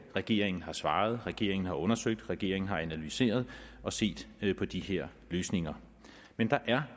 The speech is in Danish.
regeringen har svaret regeringen har undersøgt regeringen har analyseret og set på de her løsninger men der er